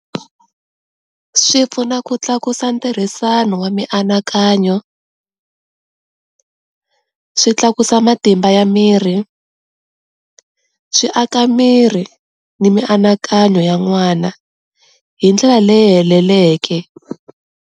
Swi pfuna ku tlakusa ntirhisano wa mianakanyo, swi tlakusa matimba ya miri, swi aka miri na mianakanyo ya n'wana hi ndlela leyi heleleke.